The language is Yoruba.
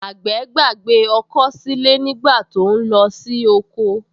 Àgbẹ̀ gbàgbé ọkọ́ sílé nígbà tó ń lọ sí oko